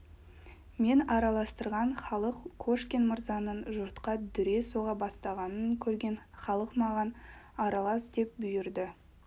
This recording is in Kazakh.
мен араластырған халық кошкин мырзаның жұртқа дүре соға бастағанын көрген халық маған аралас деп бұйырды